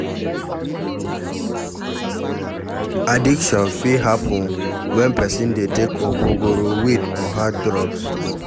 Addiction fit happen when person dey take ogogoro, weed or hard drugs